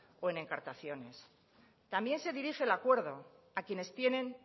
o en encartaciones también se dirige el acuerdo a quienes tienen